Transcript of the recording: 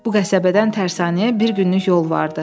Bu qəsəbədən tərsanəyə bir günlük yol vardı.